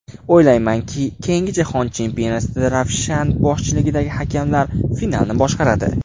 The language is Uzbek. O‘ylaymanki, keyingi jahon chempionatida Ravshan boshchiligidagi hakamlar finalni boshqaradi.